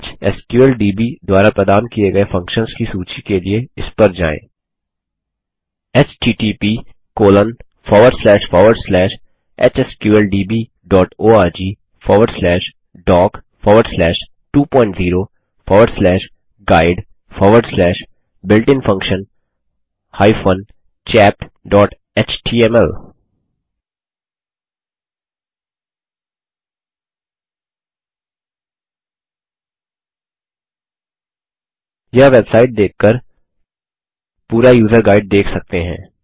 HSQLDB द्वारा प्रदान किये गये फंक्शन्स की सूची के लिए इस पर जाएँ httphsqldborgdoc20guidebuiltinfunctions chapthtml यह वेबसाईट देख कर पूरा यूज़र गाइड देख सकते हैं